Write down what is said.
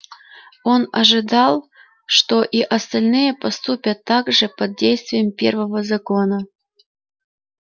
он ожидал что и остальные поступят так же под действием первого закона